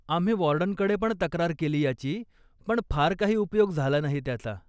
आम्ही वॉर्डनकडे पण तक्रार केली याची, पण फार काही उपयोग झाला नाही त्याचा.